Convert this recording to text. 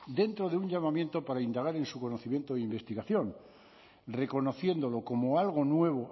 dentro de un llamamiento para indagar en su conocimiento e investigación reconociéndolo como algo nuevo